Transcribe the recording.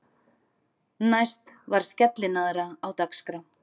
Næst var skellinaðra á dagskrá.